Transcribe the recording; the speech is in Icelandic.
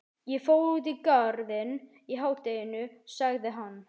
Ég fór út í Garðinn í hádeginu sagði hann.